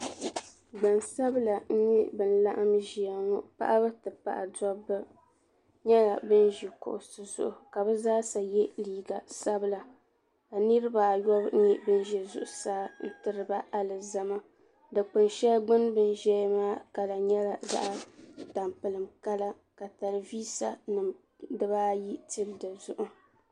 Gbansabla n nyɛ ban laɣim ʒɛya ŋɔ paɣaba ti pahi dobba nyɛla ban ʒi kuɣusi zuɣu ka bɛ zaasa ye liiga sabila ka niriba ayɔbu nyɛ ban ʒɛ zuɣusaa ka diriba alizama dikpin sheli gbini bɛni ʒɛya maa kala nyela zaɣa tampilim kala ka telivisa nima ayi tili dizuɣu